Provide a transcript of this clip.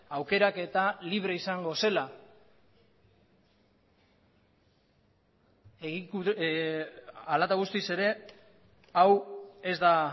aukeraketa libre izango zela hala eta guztiz ere hau ez da